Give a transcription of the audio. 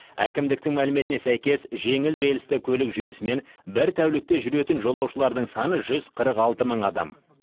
әкімдіктің мәліметіне сәйкес жеңіл рельсті көлік жүйесімен бір тәулікте жүретін жолаушылардың саны жүз қырық алты мың адам